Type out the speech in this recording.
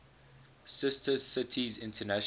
sister cities international